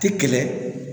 Tɛ kɛlɛ